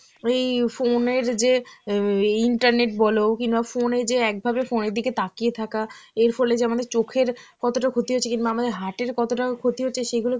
ওই phone এর যে উম এ এই internet বল কিংবা phone এ যে একভাবে phone এর দিকে তাকিয়ে থাকা, এর ফলে যে আমাদের চোখের কতটা ক্ষতি হচ্ছে কিংবা আমাদের heart এর কতটা ক্ষতি হচ্ছে সেগুলো